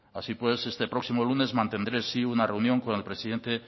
así pues este próximo lunes mantendré sí una reunión con el presidente